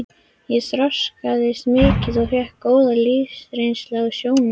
Ég þroskaðist mikið og fékk góða lífsreynslu á sjónum.